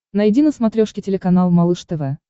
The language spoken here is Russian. найди на смотрешке телеканал малыш тв